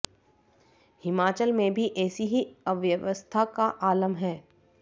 हिमाचल में भी ऐसी ही अव्यवस्था का आलम है